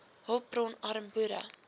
hulpbron arm boere